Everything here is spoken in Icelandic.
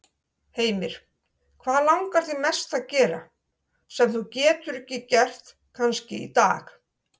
Heimir: Hvað langar þig mest að gera, sem þú getur ekki gert kannski í dag?